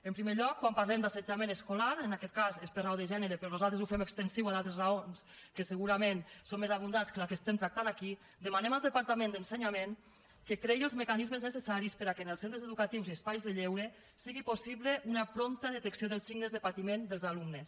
en primer lloc quan parlem d’assetjament escolar en aquest cas és per raó de gènere però nosaltres ho fem extensiu a d’altres raons que segurament són més abundants que la que tractem aquí demanem al departament d’ensenyament que creï els mecanismes necessaris perquè en els centres educatius i espais de lleure sigui possible una prompta detecció dels signes de patiment dels alumnes